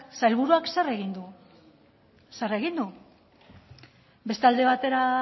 sailburuak zer egin du zer egin du beste alde batera